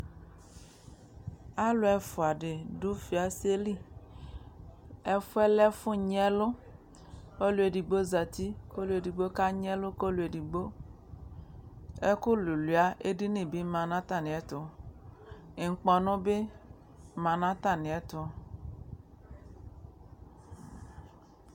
Alʊ ɛfuadɩ dʊ fiaselɩ ɛfʊyɛ lɛ ɛfʊ nyɩ ɛlu ɔlʊedigbo zatɩ ɔlʊedɩgbo kanyɩ ɛlu kʊ ɛdɩgbo ɛkʊ lʊlʊɩa edɩnɩ bɩ manʊ atamiɛtʊ ŋkpɔnu bɩ manʊ atamiɛtʊ